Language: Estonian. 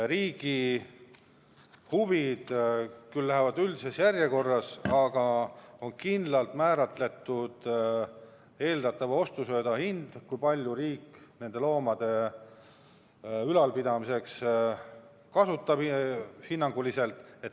Riigi huvid lähevad küll üldises järjekorras, aga on kindlaks määratud eeldatava ostusööda hind, see, kui palju riik seda nende loomade ülalpidamiseks hinnanguliselt kasutab.